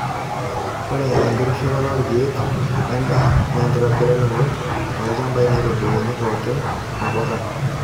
Ore enkitushulata oorkiek wendaa na enkitobiraroto olchampai natubulunyi pook nabokata.